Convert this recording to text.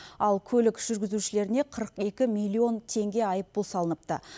ал көлік жүргізушілеріне қырық екі миллион теңге айыппұл салыныпты